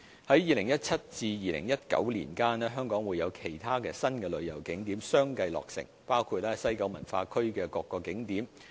在2017年至2019年間，香港會有其他新旅遊景點相繼落成，包括西九文化區的各個景點。